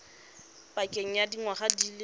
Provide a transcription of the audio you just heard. pakeng ya dingwaga di le